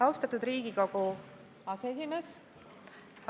Austatud Riigikogu aseesimees!